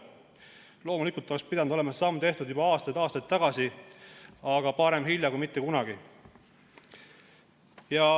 Ja loomulikult oleks pidanud see samm olema tehtud juba aastaid tagasi, aga parem hilja kui mitte kunagi.